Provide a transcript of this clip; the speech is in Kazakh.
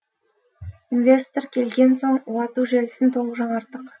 инвестор келген соң уату желісін толық жаңарттық